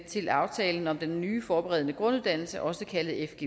til aftalen om den nye forberedende grunduddannelse også kaldet